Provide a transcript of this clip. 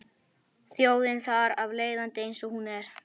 Þjóðin þar af leiðandi eins og hún er.